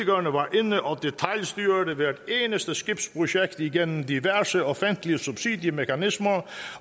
inde og detailstyrede hvert eneste skibsprojekt igennem diverse offentlige subsidiemekanismer